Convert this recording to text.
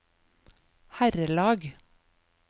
herrelag